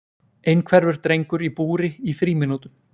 Einhverfur drengur í búri í frímínútum